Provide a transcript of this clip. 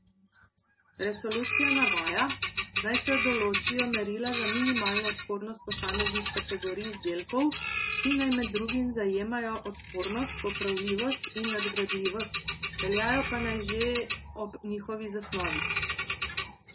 Resolucija navaja, naj se določijo merila za minimalno odpornost posameznih kategorij izdelkov, ki naj med drugim zajemajo odpornost, popravljivost in nadgradljivost, veljajo pa naj že ob njihovi zasnovi.